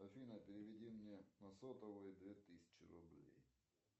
афина переведи мне на сотовый две тысячи рублей